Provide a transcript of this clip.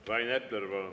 Rain Epler, palun!